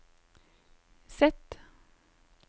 Z